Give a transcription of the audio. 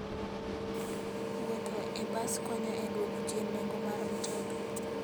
Wuotho e bas konyo e dwoko chien nengo mar mtoka.